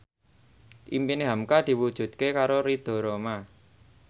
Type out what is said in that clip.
impine hamka diwujudke karo Ridho Roma